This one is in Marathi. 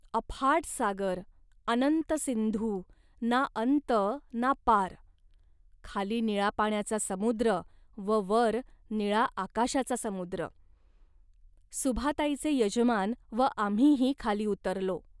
अफाट सागर, अनंत सिंधू, ना अंत ना पार, खाली निळा पाण्याचा समुद्र व वर निळा आकाशाचा समुद्र. सुभाताईचे यजमान व आम्हीही खाली उतरलो